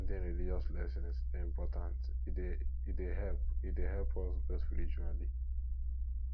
at ten ding religious lessons dey important e dey help e dey help us grow spiritually